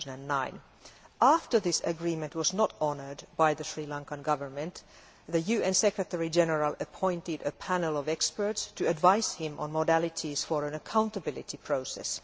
2009. After this agreement was not honoured by the Sri Lankan Government, the UN Secretary General appointed a panel of experts to advise him on modalities for an accountability process.